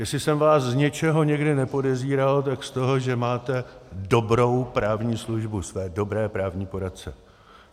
Jestli jsem vás z něčeho někdy nepodezíral, tak z toho, že máte dobrou právní službu, své dobré právní poradce.